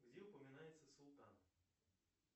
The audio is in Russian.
где упоминается султан